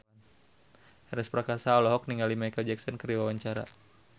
Ernest Prakasa olohok ningali Micheal Jackson keur diwawancara